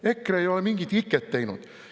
EKRE ei ole mingit iket teinud.